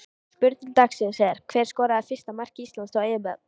Spurning dagsins er: Hver skorar fyrsta mark Íslands á EM?